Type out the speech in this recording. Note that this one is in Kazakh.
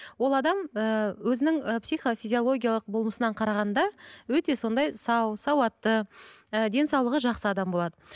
ол адам ііі өзінің і психофизиологиялық болмысынан қарағанда өте сондай сау сауатты ы денсаулығы жақсы адам болады